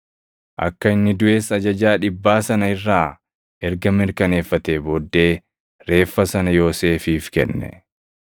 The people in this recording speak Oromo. Akka inni duʼes ajajaa dhibbaa sana irraa erga mirkaneeffatee booddee reeffa sana Yoosefiif kenne.